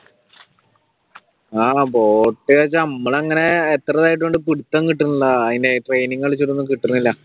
ആഹ് ബോട്ടിയൊക്കെ നമ്മൾ അങ്ങനെ എത്രയാതായതുകൊണ്ട് പിടുത്തം കിട്ടാനില്ല അതിന്റെ training കളിച്ചിട്ടൊന്നും കിട്ടുന്നില്ല